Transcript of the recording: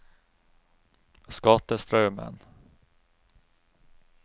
Skatestraumen